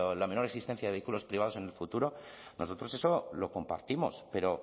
la menor existencia de vehículos privados en el futuro nosotros eso lo compartimos pero